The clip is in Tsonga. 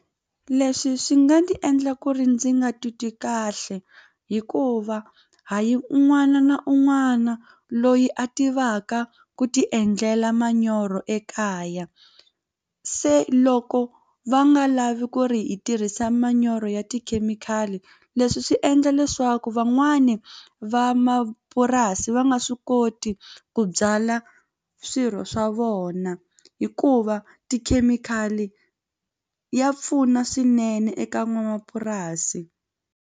Leswi swi nga ndzi endla ku ri ndzi nga titwi kahle hikuva hayi un'wana na un'wana loyi a tivaka ku ti endlela manyoro ekaya se loko va nga lavi ku ri hi tirhisa manyoro ya tikhemikhali leswi swi endla leswaku van'wani vamapurasi va nga swi koti ku byala swirho swa vona hikuva tikhemikhali ya pfuna swinene eka n'wamapurasi.